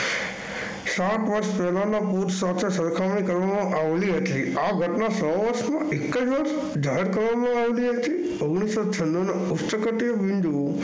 સાત વર્ષ પહેલાના સાથે સરખામણી કરવામાં આવી હતી. આ ઘટના સો વર્ષમાં એક જ વર્ષ જાહેર કરવામાં આવેલી હતી. ઓગણીસો છન્નુંનું ઉષ્ટકટી બિંદુ